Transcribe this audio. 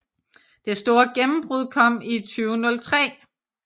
Det store gennembrud kom i 2003